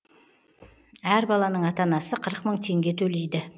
әр баланың ата анасы қырық мың теңге төлейді